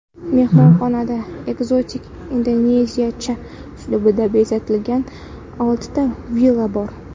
Mehmonxonada ekzotik indoneziyacha uslubda bezatilgan oltita villa bor.